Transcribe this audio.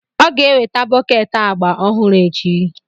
Ọ ga-eweta bọket agba ọhụrụ echi.